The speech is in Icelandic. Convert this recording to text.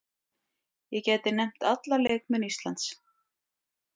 Ég gæti nefnt alla leikmenn Íslands.